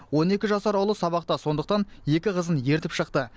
он екі жасар ұлы сабақта сондықтан екі қызын ертіп шықты